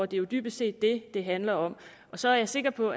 det er jo dybest set det det handler om og så er jeg sikker på